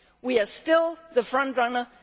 We are still the front runner.